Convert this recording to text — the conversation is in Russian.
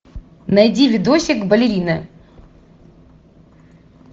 найди видосик балерина